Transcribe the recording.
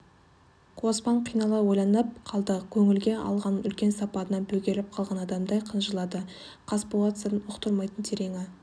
қоспан қинала ойланып қалды көңілге алған үлкен сапарынан бөгеліп қалған адамдай қынжылады қасболат сырын ұқтырмайтын тереңі